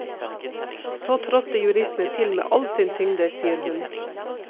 Så trådte juristene til med all sin tyngde, sier hun.